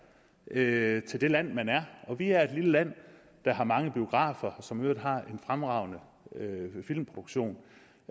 jamen til det land man er vi er et lille land der har mange biografer og som i øvrigt har en fremragende filmproduktion